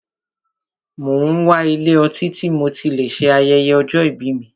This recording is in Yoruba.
Mo n wá ilé ọtí tí mo tí lè ṣe ayẹyẹ ọjọ́ ìbí mí.